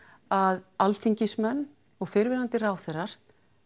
að Alþingismenn og fyrrverandi ráðherrar